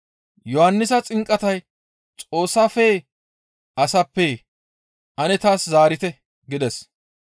Yohannisa xinqatay Xoossafeyee? Asappee? Ane taas zaarite» gides.